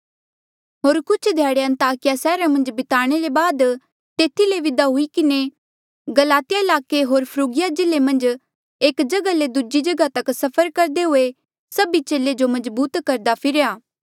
होर कुछ ध्याड़े अन्ताकिया सैहरा मन्झ बिताणे ले बाद तेथी ले विदा हुई किन्हें गलातिया ईलाके होर फ्रुगिया जिल्ले मन्झ एक जगहा ले दूजी जगहा तक सफर करदे हुए सभी चेले जो मजबूत करदा फिरेया